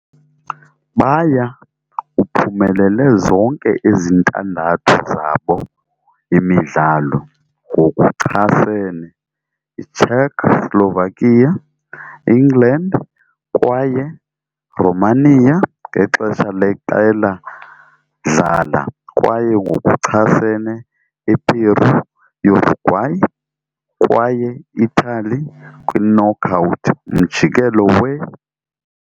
Baya uphumelele zonke ezintandathu zabo imidlalo - ngokuchasene Czechoslovakia, England kwaye Romania ngexesha leqela dlala, kwaye ngokuchasene Eperu, Uruguay kwaye Italy kwi-knockout umjikelo we.